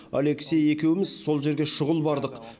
алексей екеуміз сол жерге шұғыл бардық